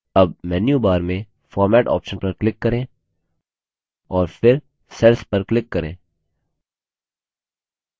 अब मेन्यूबार में format option पर click करें और फिर cells पर click करें